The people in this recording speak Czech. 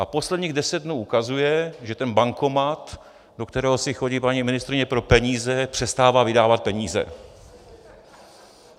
A posledních deset dnů ukazuje, že ten bankomat, do kterého si chodí paní ministryně pro peníze, přestává vydávat peníze.